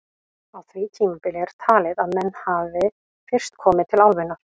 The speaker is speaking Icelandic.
Á því tímabili er talið að menn hafi fyrst komið til álfunnar.